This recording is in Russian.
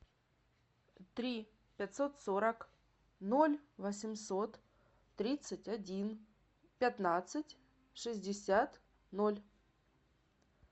три пятьсот сорок ноль восемьсот тридцать один пятнадцать шестьдесят ноль